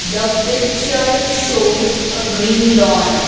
the picture shows a green lawn